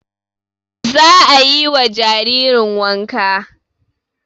Za a yi wa jaririn wanka